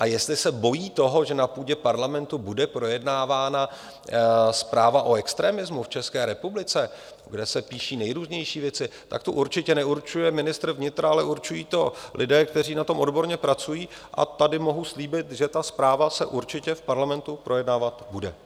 A jestli se bojí toho, že na půdě parlamentu bude projednávána zpráva o extremismu v České republice, kde se píší nejrůznější věci, tak tu určitě neurčuje ministr vnitra, ale určují to lidé, kteří na tom odborně pracují, a tady mohu slíbit, že ta zpráva se určitě v parlamentu projednávat bude.